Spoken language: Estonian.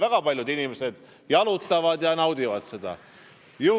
Väga paljud inimesed jalutavad seal ja naudivad seda ilu.